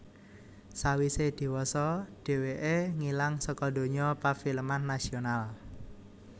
Sawisé diwasa dhèwèké ngilang saka donya pafilman nasional